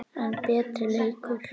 enn betri leikur.